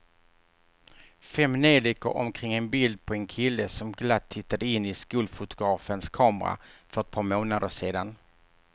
Fem neljikor omkring ett bild på en kille som glatt tittade in i skolfotografens kamera för ett par månader sedan.